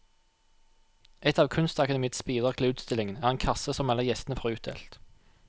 Et av kunstakademiets bidrag til utstillingen er en kasse som alle gjestene får utdelt.